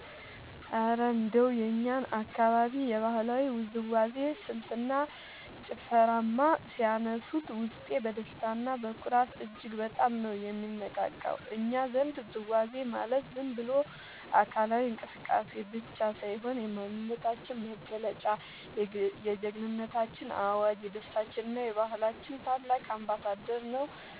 እረ እንደው የእኛን አካባቢ የባህላዊ ውዝዋዜ ስልትና ጭፈርማ ሲያነሱት፣ ውስጤ በደስታና በኩራት እጅግ በጣም ነው የሚነቃቃው! እኛ ዘንድ ውዝዋዜ ማለት ዝም ብሎ አካላዊ እንቅስቃሴ ብቻ ሳይሆን፣ የማንነታችን መገለጫ፣ የጀግንነታችን አዋጅ፣ የደስታችንና የባህላችን ታላቅ አምባሳደር ነው